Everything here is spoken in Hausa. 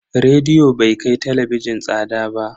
Rediyo bai kai talabijin tsada ba.